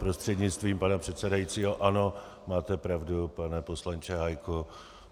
Prostřednictvím pana předsedajícího - ano, máte pravdu, pane poslanče Hájku.